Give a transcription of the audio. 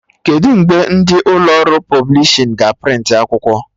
Kedụ mgbe ndị ụlọ ọrụ pọblishin ga a prịntị akwụkwọ?